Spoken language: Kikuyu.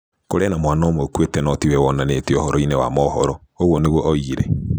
Kũrĩ na mwana ũmwe ũkuĩte no ti we wonanĩtio ũhoro-inĩ wa mohoro, ũguo nĩguo oigire.